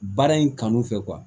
Baara in kanu fɛ